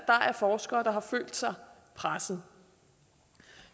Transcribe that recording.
er forskere der har følt sig presset